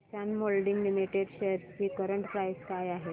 किसान moulding limited shares ची current price काय आहे